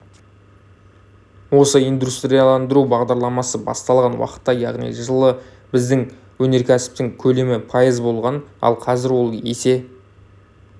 осы индустриаландыру бағдарламасы басталған уақытта яғни жылы біздің өнеркәсіптің көлемі пайыз болған ал қазір ол есе